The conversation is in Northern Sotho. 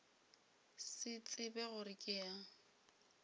se tsebe gore ke ya